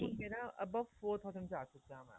ਹੁਣ ਮੇਰਾ above four thousand ਜਾ ਚੁੱਕਿਆ mam